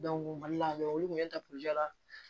mali la olu kun bɛ la